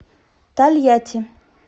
тольятти